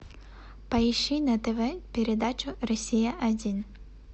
поищи на тв передачу россия один